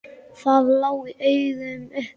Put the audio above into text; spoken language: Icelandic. Það lá í augum uppi.